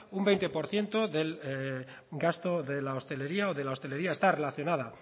un veinte por ciento del gasto de la hostelería o de la hostelería está relacionada